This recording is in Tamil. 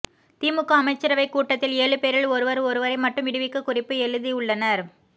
திமுக அமைச்சரவை கூட்டத்தில் ஏழு பேரில் ஒருவர் ஒருவரை மட்டும் விடுவிக்க குறிப்பு எழுதி உள்ளனர்